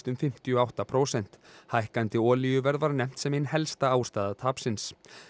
um fimmtíu og átta prósent hækkandi olíuverð var nefnt sem ein helsta ástæða tapsins